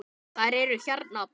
Þær eru hérna, pabbi.